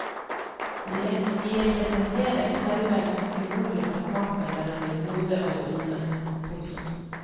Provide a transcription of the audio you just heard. De representerer selve symbolet på kampen mellom det gode og det onde. punktum